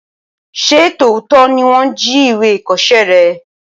Ṣé tòótọ́ ni wọ́n jí ìwé ìkọṣẹ́ rẹ?